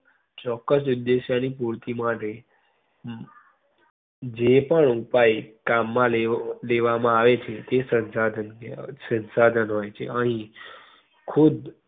ચોક્કસ ઉદ્દેશય ની પૂરતી માટે જે પણ ઉપાય કામ માં~ કામ માં લેવામાં આવે છે. તે શંશાધન કેવા~ શંશાધન હોઈ છે. અહીં ખુબ